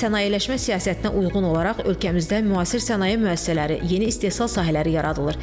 Sənayeləşmə siyasətinə uyğun olaraq ölkəmizdə müasir sənaye müəssisələri, yeni istehsal sahələri yaradılır.